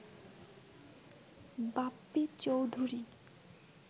Bappi Chowdhury